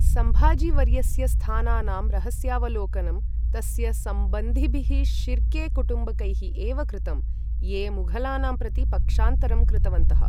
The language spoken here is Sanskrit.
सम्भाजीवर्यस्य स्थानानां रहस्यावलोकनं तस्य सम्बन्धिभिः शिर्के कुटुम्बकैः एव कृतम्, ये मुघलानां प्रति पक्षान्तरं कृतवन्तः।